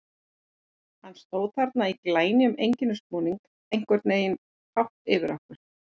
Hann stóð þarna í glænýjum einkennisbúningi, einhvern veginn hátt yfir okkur.